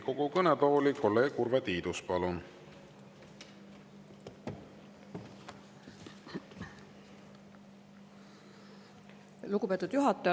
Lugupeetud kolleegid!